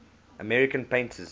american painters